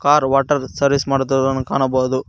Car water service ಮಾಡುತ್ತಿರುವುದನ್ನು ಕಾಣಬೌದು.